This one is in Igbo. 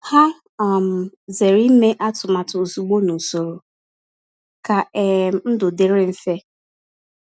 Ha um zere ime atụmatụ ozugbo n’usoro ka um ndụ dịrị mfe.